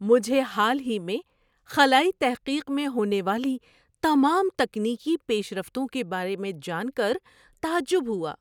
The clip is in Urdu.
مجھے حال ہی میں خلائی تحقیق میں ہونے والی تمام تکنیکی پیش رفتوں کے بارے میں جان کر تعجب ہوا۔